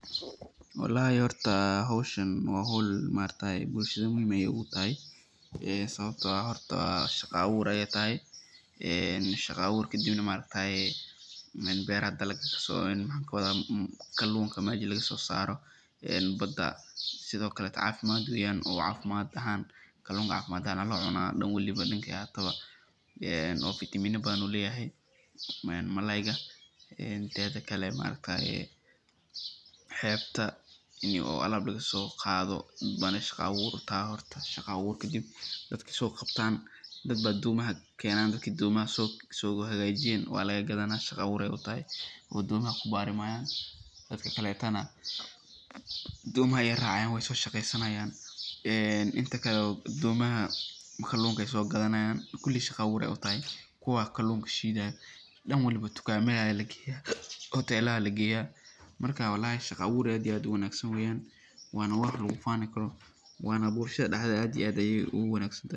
Walahi horta howshan waa howl muhiim utahay bulshada dexdeeda, sababta oo ah horta shaqo abuur ayeey tahay, kaluunka meesha laga soo saaro ee Bada, sidokale cafimaad weeyan oo kaluunka cafimaad ahaan ayaa loo cunaa dan waliba dankeey ahaataba oo vitamina badan ayuu leyahay malayga, teeda kale xeebta in alaab laga soo qaado shaqa abuur waye, dadbaa domaha Keenan, dadka domaha soo hagaajiyeen waa laga gadanaa shaqa abuur ayeey utahay, dadka kalena doomaha ayeey raacayan weey soo shaqeysanayaan, inta kale kaluunka ayeey soo gadanaayan kuli shaqa abuur ayeey utahay, kuwa kalunka shiidayo kuwa dukaamada lageeya hoteelaha lageeya shaqa abuur fican waye waana wax lagu faani karo.